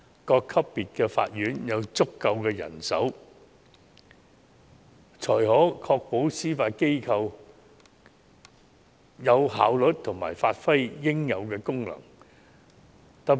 各級別法院須有足夠人手，才可確保司法機構有效率地發揮應有功能。